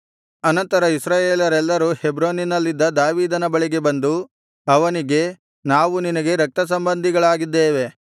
ಅನಂತರ ಇಸ್ರಾಯೇಲರೆಲ್ಲರೂ ಹೆಬ್ರೋನಿನಲ್ಲಿದ್ದ ದಾವೀದನ ಬಳಿಗೆ ಬಂದು ಅವನಿಗೆ ನಾವು ನಿನಗೆ ರಕ್ತಸಂಬಂಧಿಗಳಾಗಿದ್ದೇವೆ